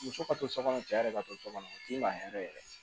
Muso ka to so kɔnɔ cɛ yɛrɛ ka to so kɔnɔ u t'i maa hɛrɛ yɛrɛ ye